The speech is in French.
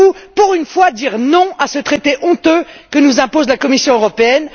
Saurez vous, pour une fois, dire non à ce traité honteux que nous impose la Commission européenne?